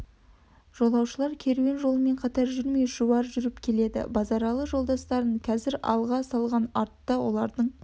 жолаушылар керуен жолымен қатар жүрмей шұбай жүріп келеді базаралы жолдастарын қазір алға салған артта олардың